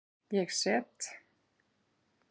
Ég set?